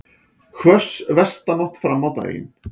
Hvöss vestanátt fram á daginn